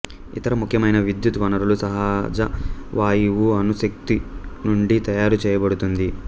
ఇతర ముఖ్యమైన విద్యుత్ వనరులు సహజ వాయువు అణుశక్తి నుండి తయారుచేయబడుతుంది